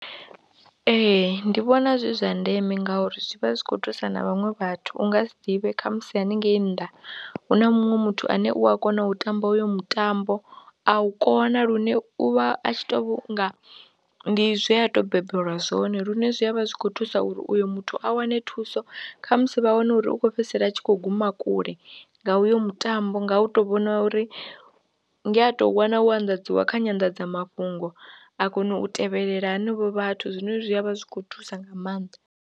Ee ndi vhona zwi zwa ndeme ngauri zwi vha zwi khou thusa na vhaṅwe vhathu u nga si ḓivhe khamusi haningei nnḓa hu na munwe muthu ane u a kona u tamba uyo mutambo, a u kona lune u vha a tshi tou nga ndi zwe a tou bebelwa zwone lune zwi a vha zwi khou thusa uri uyo muthu a wane thuso kha musi vha wane uri u khou fhedzisela a tshi khou guma kule nga uyo mutambo nga u tou vhona uri ndi a tou wana wo anḓadziwa kha nyandadzamafhungo a kone u tevhelela henevho vhathu zwine zwi a vha zwi khou thusa nga maanḓa.